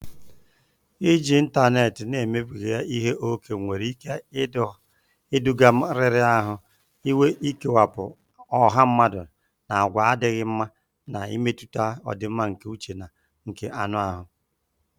Iji ịntanetị na-emebiga ihe ókè nwere ike iduga riri ahụ, ikewapụ ọha mmadụ, na àgwà adịghị mma, na-emetụta ọdịmma nke uche na nke anụ ahụ.